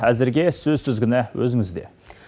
әзірге сөз тізгіні өзіңізде